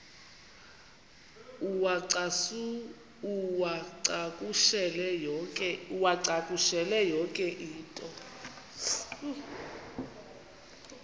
uwacakushele yonke into